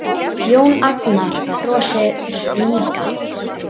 Jón Agnar brosir líka.